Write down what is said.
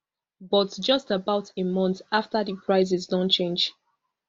but just about a month afta di prices don change